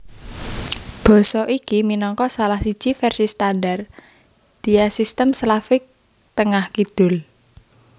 Basa iki minangka salah siji vèrsi standar diasistem Slavik Tengah kidul